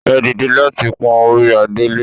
Ẹ dìde láti pọ́n orí adé lé!